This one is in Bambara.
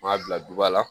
M'a bila duba la